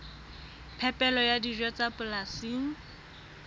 phepelo ya dijo tsa polasing